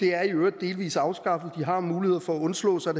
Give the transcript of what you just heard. er i øvrigt delvis afskaffet de har mulighed for at undslå sig